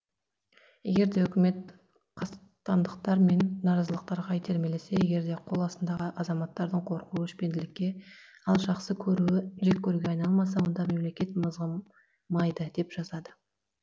егерде үкімет қастандықтар мен наразылықтарға итермелемесе егерде қол астындағы азаматтардың қорқуы өшпенділікке ал жақсы көруі жек көруге айналмаса онда мемлекет мызғымайды деп жазады